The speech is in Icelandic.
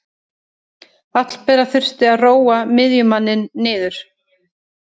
Hallbera þurfti að róa miðjumanninn niður.